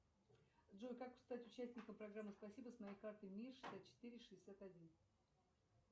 джой как стать участником программы спасибо с моей картой мир шестьдесят четыре шестьдесят один